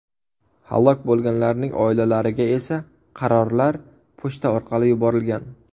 Halok bo‘lganlarning oilalariga esa qarorlar pochta orqali yuborilgan.